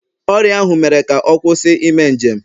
Ọrịa ahụ mere ka ọ kwụsị ime njem